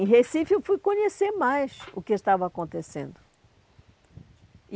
Em Recife eu fui conhecer mais o que estava acontecendo.